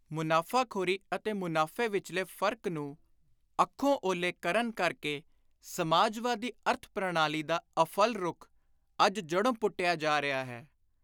ਮੁਨਾਫ਼ਾਖ਼ੋਰੀ ਅਤੇ ਮੁਨਾਫ਼ੇ ਵਿਚਲੇ ਫ਼ਰਕ ਨੂੰ ਅੱਖੋਂ ਓਹਲੇ ਕਰਨ ਕਰ ਕੇ ਸਮਾਜਵਾਦੀ ਅਰਥ-ਪ੍ਰਣਾਲੀ ਦਾ ਅਫਲ ਰੁੱਖ, ਅੱਜ ਜੜ੍ਹੋਂ ਪੁੱਟਿਆ ਜਾ ਰਿਹਾ ਹੈ।